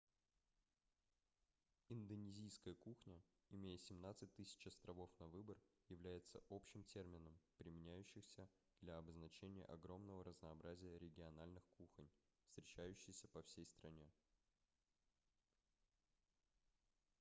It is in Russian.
индонезийская кухня имея 17 000 островов на выбор является общим термином применяющийся для обозначения огромного разнообразия региональных кухонь встречающиеся по всей стране